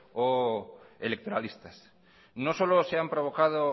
o electoralistas no solo se han provocado